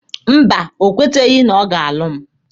Mba, o kweteghị na ọ ga-alụ mụ.